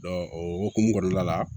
o hokumu kɔnɔna la